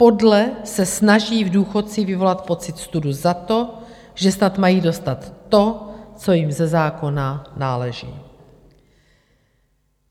Podle se snaží v důchodcích vyvolat pocit studu za to, že snad mají dostat to, co jim ze zákona náleží.